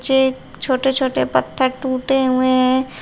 छोटे छोटे पत्थर टूटे हुए हैं।